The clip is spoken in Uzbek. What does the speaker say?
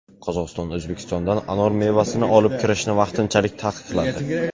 Qozog‘iston O‘zbekistondan anor mevasini olib kirishni vaqtinchalik taqiqladi.